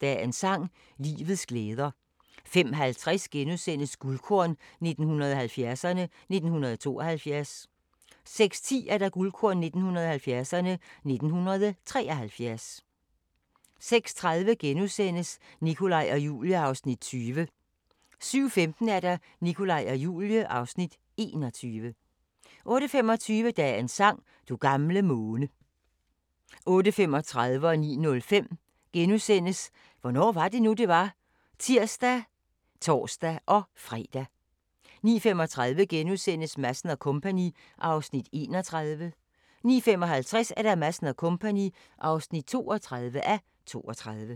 Dagens sang: Livets glæder * 05:50: Guldkorn 1970'erne: 1972 * 06:10: Guldkorn 1970'erne: 1973 06:30: Nikolaj og Julie (Afs. 20)* 07:15: Nikolaj og Julie (Afs. 21) 08:25: Dagens sang: Du gamle måne 08:35: Hvornår var det nu, det var? *(tir og tor-fre) 09:05: Hvornår var det nu, det var? *(tir og tor-fre) 09:35: Madsen & Co. (31:32)* 09:55: Madsen & Co. (32:32)